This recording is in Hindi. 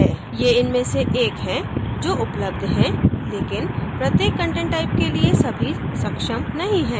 ये इनमें से एक हैं जो उपलब्ध हैं लेकिन प्रत्येक content type के लिए सभी सक्षम नहीं है